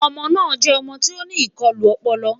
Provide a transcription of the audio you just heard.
ọmọ na jẹ ọmọ tí oní ikọlu ọpọlọ